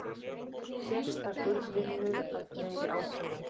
Sérstakur vinnur að fleiri ákærum